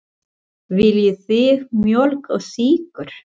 Viljið þið mjólk og sykur?